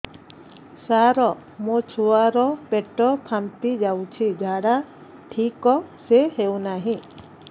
ସାର ମୋ ଛୁଆ ର ପେଟ ଫାମ୍ପି ଯାଉଛି ଝାଡା ଠିକ ସେ ହେଉନାହିଁ